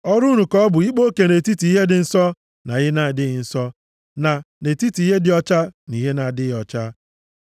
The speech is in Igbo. Ọrụ unu ka ọ bụ ịkpa oke nʼetiti ihe dị nsọ na ihe na-adịghị nsọ, na nʼetiti ihe dị ọcha na ihe na-adịghị ọcha.